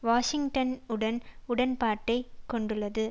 வாஷிங்டனுடன் உடன்பாட்டை கொண்டுள்ளது